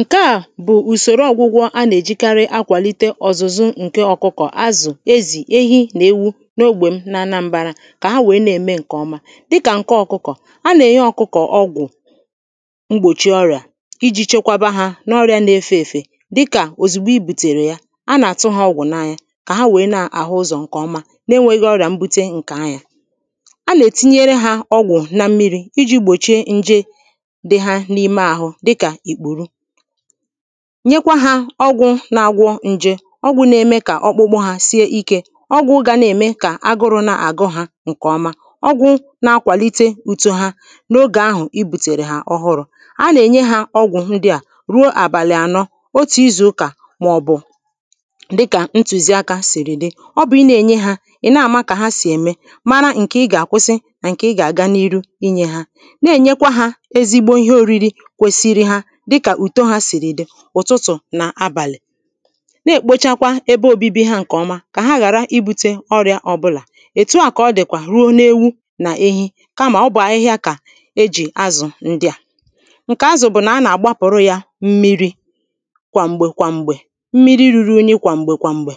Ǹkeà bụ̀ ùsòro ọgwụgwọ a nà-ejìkari akwàlite ọ̀zụ̀zụ ǹke ọkụkọ̀, azụ̀, ezì, ehi nà ewu n’ogbè m na anambārā kà ha wèe na-ème ǹkèọma Dịkà ǹke ọkụkọ̀, a nà-ènye ọkụkọ̀ ọgwụ̀ mgbòchi ọrị̀à ijī chekwaba hā n’ọrịā na-efē èfè dịkà òzìgbo ibùtèrè ya A nà-àtụ hā ọgwụ̀ n’anya kà ha wèe na-àhụ ụzọ̀ ǹkèọma, na-enwēghī ọrị̀à mbute ǹkè anyā A na-ètinyere hā ọgwụ̀ na mmirī ijī gbòchie nje dị ha n’ime ahụ dịkà ìkpùru Nyekwa hā ọgwụ̄ na-agwọ n̄jē Ọgwụ̄ na-eme kà ọkpụkpụ hā sie ikē Ọgwụ̄ gà na-ème kà agụrụ̄ na-àgụ hā ǹkèọma Ọgwụ̄ na-akwàlite uto ha n’ogè ahụ̀ ibùtèrè ha ọhụrụ̄ A nà-ènye hā ọgwụ̀ ndịà ruo àbàlị̀ ànọ, otù izù ụkà màọ̀bụ̀ ̣dịkà ntụ̀ziakā sìrì dị Ọ bụ̀ i na-ènye hā, ị̀ na-àma kà ha sì ème, mara ǹkè ị gà-àkwụsị na nke ị gà-àga n’iru inyē hā Na-ènyekwa hā ezigbo ihe oriri kwesiri ha dịkà ùto hā sìrì dị, ụ̀tụtụ̀ nà abàlị̀ Na-èkpochakwa ebe obibi ha ǹkèọma kà ha ghàra ibūtē ọrịā ọbụlà Ètu à kà ọ dìkwà ruo na ewu nà ehi kamà ọ bụ̀ ahịhịa kà ejì̀ azụ̀ ndịà ŋ̀kè ázʊ̀ bʊ̀ nà á nà-àgbápʊ̀rʊ́ jā ḿmírī kʷàm̀gbè kʷàm̀gbè, ḿmírí rūrū ūɲī kʷàm̀gbè kʷàm̀gbè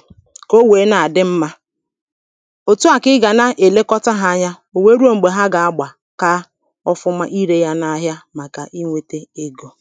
kà ó wèé ná-àdɪ́ ḿmā Ètu à kà ị gà na-èlekọta hā anya wèe rùo m̀gbè ha gà-agbà kaa ọfụma irē yā n’āhịā màkà inwētē egō